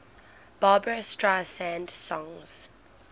barbra streisand songs